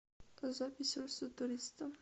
запись руссо туристо